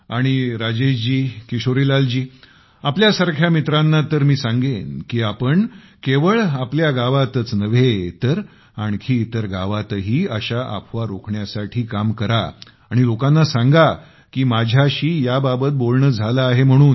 आणि राजेशजीकिशोरीलालजीआपल्यासारख्या मित्रांना तर मी सांगेन की आपण केवळ आपल्या गावातच नव्हे तर आणखी इतर गावातही अशा अफवा रोखण्यासाठी काम करा आणि लोकांना सांगा की माझ्याशी याबाबत बोलणे झालं आहे म्हणून